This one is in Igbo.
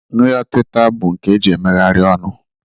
Nri ọtịta bụ nke e ji emegharị ọnụ